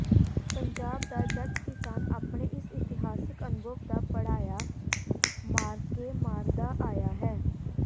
ਪੰਜਾਬ ਦਾ ਜੱਟ ਕਿਸਾਨ ਆਪਣੇ ਇਸ ਇਤਿਹਾਸਕ ਅਨੁਭਵ ਦਾ ਪੜ੍ਹਾਇਆ ਮਾਅਰਕੇ ਮਾਰਦਾ ਆਇਆ ਹੈ